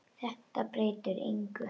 Þetta breytir engu.